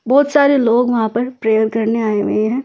बहुत सारे लोग वहां पर प्रेयर करने आए हुए हैं ।